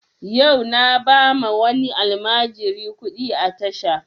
Yau na ba ma wani almajiri kuɗi a tasha